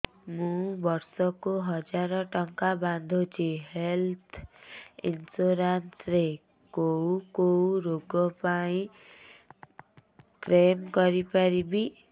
ମୁଁ ବର୍ଷ କୁ ହଜାର ଟଙ୍କା ବାନ୍ଧୁଛି ହେଲ୍ଥ ଇନ୍ସୁରାନ୍ସ ରେ କୋଉ କୋଉ ରୋଗ ପାଇଁ କ୍ଳେମ କରିପାରିବି